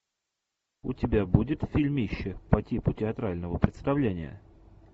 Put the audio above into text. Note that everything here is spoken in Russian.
у тебя будет фильмище по типу театрального представления